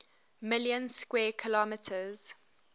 million square kilometers